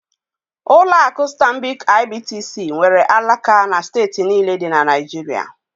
Ụlọ akụ Stanbic IBTC nwere alaka na steeti niile dị na Naịjirịa